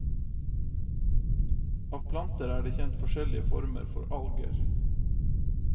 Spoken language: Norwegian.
Av planter er det kjent forskjellige former for alger.